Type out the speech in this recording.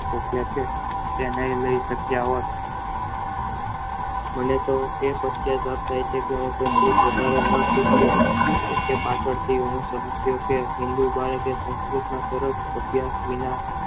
બચે છે જે એને એવા એ બોલે તો એ પોતે એ તે પાછળ હે એ